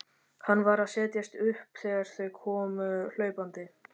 Hann var að setjast upp þegar þau komu hlaupandi.